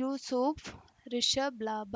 ಯೂಸುಫ್ ರಿಷಬ್ ಲಾಭ